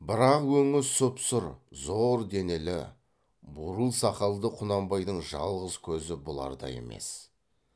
бірақ өңі сұп сұр зор денелі бурыл сақалды құнанбайдың жалғыз көзі бұларда емес